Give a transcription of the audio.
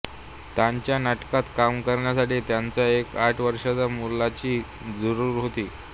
त्यांच्या नाटकात काम करण्यासाठी त्यांना एका आठ वर्षाच्या मुलाची जरूर होती